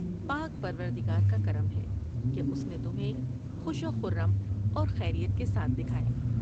پاک پروردگار کا کرم ہے کہ اس نے تمھیں خوش وخرم اور خیریت کے ساتھ دکھایا ۔